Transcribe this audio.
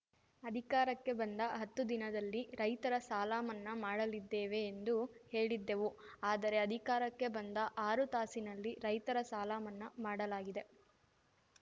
ಅಧಿಕಾರಕ್ಕೆ ಬಂದ ಹತ್ತು ದಿನದಲ್ಲಿ ರೈತರ ಸಾಲ ಮನ್ನಾ ಮಾಡಲಿದ್ದೇವೆ ಎಂದು ಹೇಳಿದ್ದೆವು ಆದರೆ ಅಧಿಕಾರಕ್ಕೆ ಬಂದ ಆರು ತಾಸಿನಲ್ಲಿ ರೈತರ ಸಾಲ ಮನ್ನಾ ಮಾಡಲಾಗಿದೆ